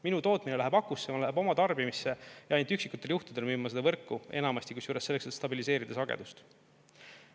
Minu tootmine läheb akusse, läheb oma tarbimisse ja ainult üksikutel juhtudel müün ma seda võrku, enamasti kusjuures selleks, et stabiliseerida sagedust.